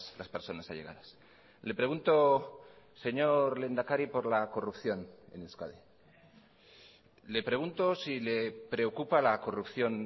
las personas allegadas le pregunto señor lehendakari por la corrupción en euskadi le pregunto si le preocupa la corrupción